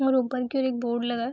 और ऊपर की ओर एक बोर्ड लगा है।